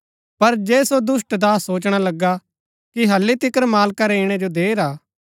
पर जे सो दुष्‍ट दास सोचणा लगा कि हल्ली तिकर मालका रै ईणै जो देर हा